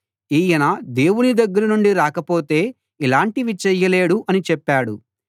ఈయన దేవుని దగ్గర నుండి రాకపోతే ఇలాంటివి చేయలేడు అని చెప్పాడు